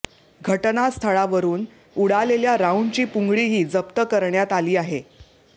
घटनास्थळावरून उडालेल्या राऊंडची पुंगळीही जप्त करण्यात आली आहे